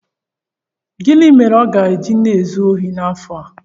Gịnị mere ọ ga-eji na-ezu ohi n'afọ a?